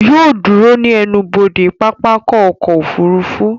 Yóò ó dúró ní ẹnubodè pápákọ̀ ọkọ̀ òfurufú